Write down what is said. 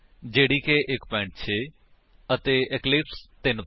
method ਕਿਵੇਂ ਬਨਾਈਏ ਅਤੇ ਇਕਲਿਪਸ ਦੀ ਵਰਤੋ ਕਰਕੇ ਜਾਵਾ ਵਿੱਚ ਓਵਰਲੋਡ ਕੰਸਟਰਕਟਰ ਕਿਵੇਂ ਬਨਾਈਏ